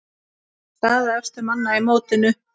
Staða efstu manna í mótinu